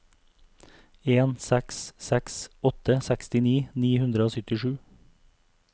en seks seks åtte sekstini ni hundre og syttisju